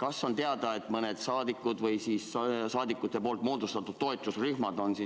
Kas on teada, et mõned rahvasaadikud või meie moodustatud toetusrühmad on